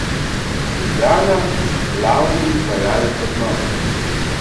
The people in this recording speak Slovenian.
Ljubljana, glavni izvajalec obnove.